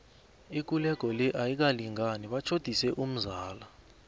ikulego le ayikalingani batjhodise umzala